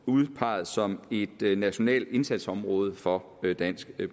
udpeget som et nationalt indsatsområde for dansk